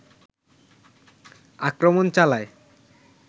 আক্রমণ চালায়